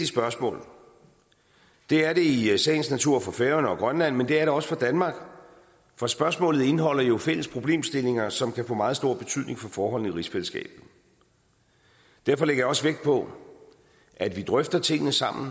spørgsmål det er det i sagens natur for færøerne og grønland men det er det også for danmark for spørgsmålet indeholder jo fælles problemstillinger som kan få meget stor betydning for forholdene i rigsfællesskabet derfor lægger jeg også vægt på at vi drøfter tingene sammen